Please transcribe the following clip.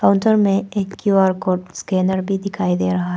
Hotel में एक Q R code scanner भी दिखाई दे रहा है।